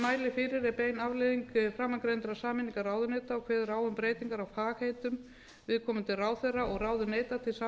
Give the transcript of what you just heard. mæli fyrir er bein afleiðing framangreindrar sameiningar ráunetya og kveður á um breytingar á fagheitum viðkomandi ráðherra og ráðuneyta til